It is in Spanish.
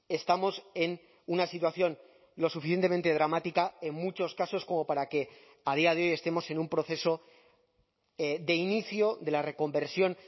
estamos en una situación lo suficientemente dramática en muchos casos como para que a día de hoy estemos en un proceso de inicio de la reconversión